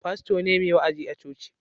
Fasto ne mai wa'azi a coci